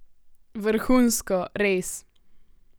Vrhunsko, res!